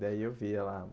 Daí eu via lá.